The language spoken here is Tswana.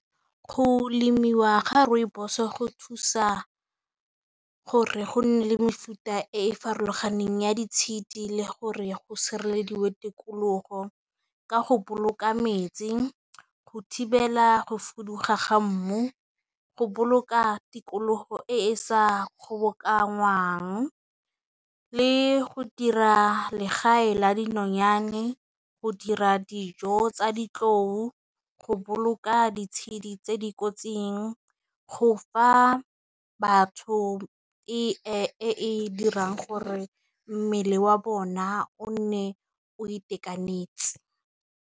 Go lemiwa ga rooibos go thusa gore go nne le mefuta e farologaneng ya ditshedi le gore go sireleditswe tikologo ka go boloka metsi, go thibela go fuduga ga mmu, go boloka tikologo e e sa kgobokanyang le go dira legae la dinonyane, go dira dijo tsa ditlou, go o ka ditshedi tse di kotsing, go fa batho e dirang gore mmele wa bona o nne o itekanetse.